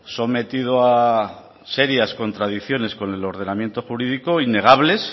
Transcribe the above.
sometido a serias contradicciones con el ordenamiento jurídico innegables